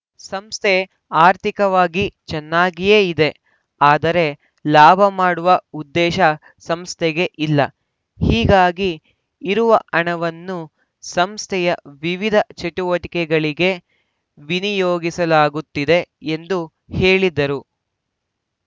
ಸಂಸ್ಥೆ ಆರ್ಥಿಕವಾಗಿ ಚೆನ್ನಾಗಿಯೇ ಇದೆ ಆದರೆ ಲಾಭ ಮಾಡುವ ಉದ್ದೇಶ ಸಂಸ್ಥೆಗೆ ಇಲ್ಲ ಹೀಗಾಗಿ ಇರುವ ಹಣವನ್ನು ಸಂಸ್ಥೆಯ ವಿವಿಧ ಚಟುವಟಿಕೆಗಳಿಗೆ ವಿನಿಯೋಗಿಸಲಾಗುತ್ತಿದೆ ಎಂದು ಹೇಳಿದರು